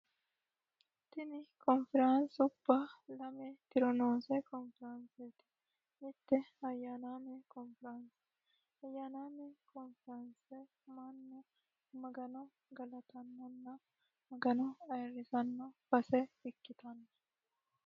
tini konfiraansi ubba lame tironoose konfiraanseeti mitti ayyanaame konfiraanse ayyaanaame konfiraanse manne magano galatannonna magano ayirrisanno base ikkitanno